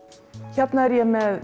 hérna er ég með